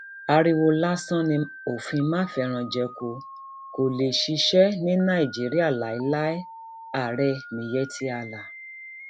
ariwo um lásán ni òfin mafẹranjẹko kó lè ṣiṣẹ ní nàìjíríà léèláé ààrẹ miyetti um allah